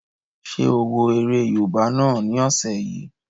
Ṣé o wo eré yóòbá náà ni ọ̀sẹ̀ yìí?